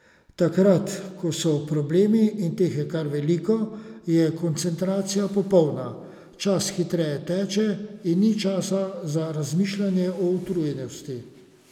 Takrat, ko so problemi, in teh je kar veliko, je koncentracija popolna, čas hitreje teče in ni časa za razmišljanje o utrujenosti.